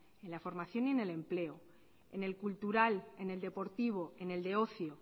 en la formación y en el empleo en el cultural en el deportivo en el de ocio